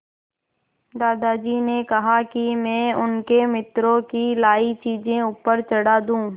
दादाजी ने कहा कि मैं उनके मित्रों की लाई चीज़ें ऊपर चढ़ा दूँ